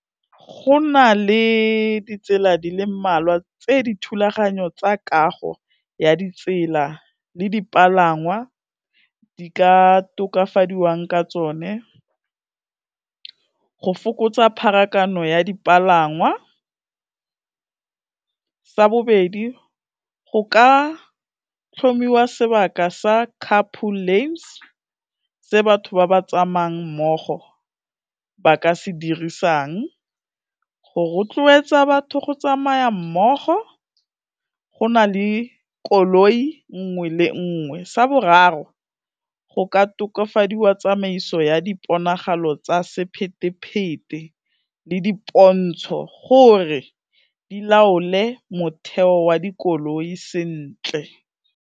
Go na le ditsela di le mmalwa tse di thulaganyo tsa kago ya ditsela le dipalangwa di ka tokafadiwang ka tsone, go fokotsa pharakano ya dipalangwa, sa bobedi go ka tlhomiwa sebaka sa couple lanes, se batho ba ba tsamayang mmogo ba ka se dirisang, go rotloetsa batho go tsamaya mmogo go na le koloi nngwe le nngwe, sa boraro go ka tokafadiwa tsamaiso ya diponagalo tsa sephethephethe le dipontsho gore di laole motheo wa dikoloi sentle.